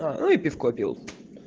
аа ну и пивко пил